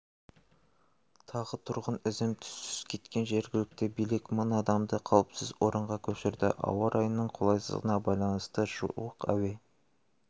тағы тұрғын ізім-түссіз кеткен жергілікті билік мың адамды қауіпсіз орынға көшірді ауа-райының қолайсыздығына байланысты жуық әуе